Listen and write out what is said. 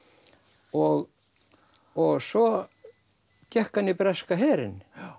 og og svo gekk hann í breska herinn